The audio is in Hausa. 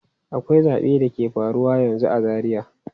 Akwai zabe da ke faruwa yanzu a Zaria.